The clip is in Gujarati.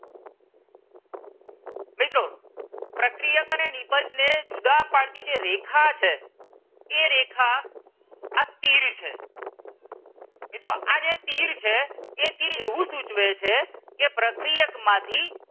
મિત્રો પ્રક્રિયક અને નીપજ ને જુદા પાડતી જે રેખા છે એ રેખા આ તીર છે મિત્રો આ જે તીર છે એ તીર એવું સૂચવે છે કે પ્રક્રિયક માંથી.